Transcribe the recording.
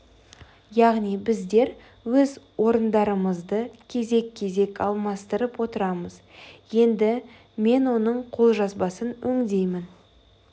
яғни біздер өз орындарымызды кезек-кезек алмастырып отырамыз енді мен оның қолжазбасын өңдеймін